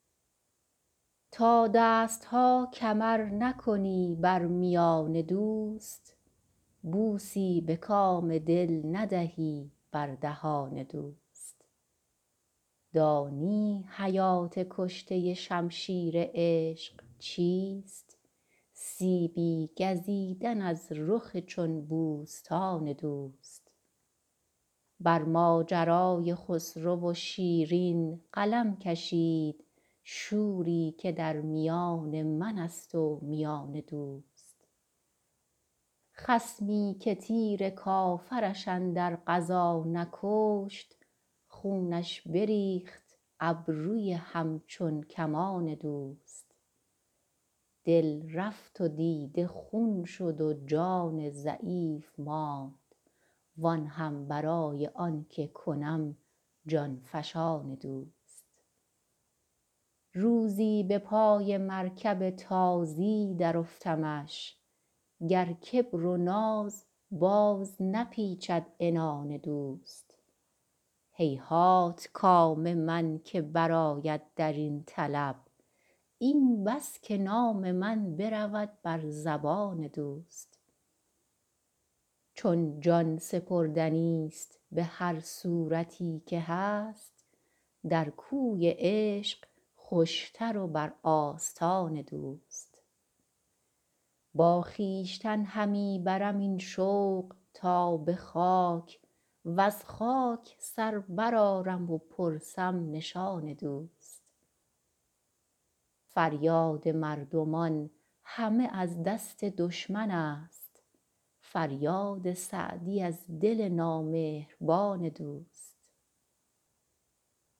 تا دست ها کمر نکنی بر میان دوست بوسی به کام دل ندهی بر دهان دوست دانی حیات کشته شمشیر عشق چیست سیبی گزیدن از رخ چون بوستان دوست بر ماجرای خسرو و شیرین قلم کشید شوری که در میان من است و میان دوست خصمی که تیر کافرش اندر غزا نکشت خونش بریخت ابروی همچون کمان دوست دل رفت و دیده خون شد و جان ضعیف ماند وآن هم برای آن که کنم جان فشان دوست روزی به پای مرکب تازی درافتمش گر کبر و ناز باز نپیچد عنان دوست هیهات کام من که برآید در این طلب این بس که نام من برود بر زبان دوست چون جان سپردنیست به هر صورتی که هست در کوی عشق خوشتر و بر آستان دوست با خویشتن همی برم این شوق تا به خاک وز خاک سر برآرم و پرسم نشان دوست فریاد مردمان همه از دست دشمن است فریاد سعدی از دل نامهربان دوست